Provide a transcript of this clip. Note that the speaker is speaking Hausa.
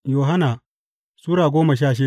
Yohanna Sura goma sha shida